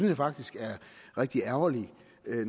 jeg faktisk er rigtig ærgerligt